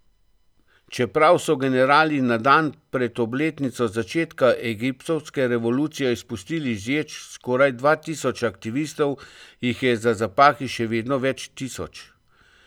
Čeprav so generali na dan pred obletnico začetka egiptovske revolucije izpustili iz ječ skoraj dva tisoč aktivistov, jih je za zapahi še vedno več tisoč.